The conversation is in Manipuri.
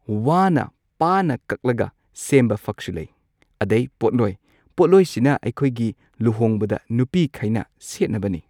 ꯋꯥꯅ ꯄꯥꯅ ꯀꯛꯂꯒ ꯁꯦꯝꯕ ꯐꯛꯁꯨ ꯂꯩ ꯑꯗꯩ ꯄꯣꯠꯂꯣꯏ ꯄꯣꯠꯂꯣꯏꯁꯤꯅ ꯑꯩꯈꯣꯏꯒꯤ ꯂꯨꯍꯣꯡꯕꯗ ꯅꯨꯄꯤꯈꯩꯅ ꯁꯦꯠꯅꯕꯅꯤ꯫